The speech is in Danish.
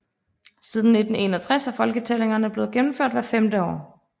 Siden 1961 er folketællingerne blev gennemført hvert femte år